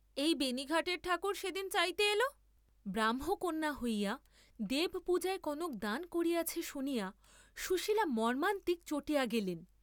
এই বেণী ঘাটের ঠাকুর সে দিন চাইতে এল, ব্রাহ্মকন্যা হইয়া দেবপূজায় কনক দান করিয়াছে শুনিয়া সুশীল মর্ম্মান্তিক চটিয়া গেলেন।